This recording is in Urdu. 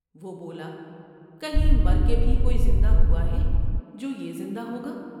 وہ بولا کہیں مر کے بھی کوئی زندہ ہوا ہے جو یہ زندہ ہوگا ؟